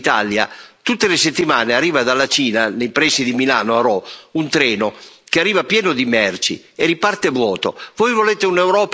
Nel mio paese, l'Italia, tutte le settimane arriva dalla Cina, nei pressi di Milano, a Rho, un treno che arriva pieno di merci e riparte vuoto.